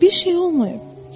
Bir şey olmayıb.